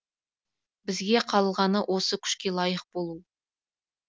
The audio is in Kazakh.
бізге қалғаны осы күшке лайық болу